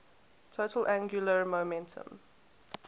total angular momentum